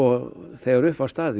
þegar upp var staðið